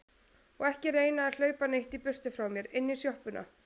Og ekki reyna að hlaupa neitt í burtu frá mér. inn í sjoppuna!